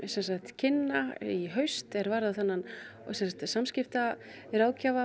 kynna í haust er varðar þennan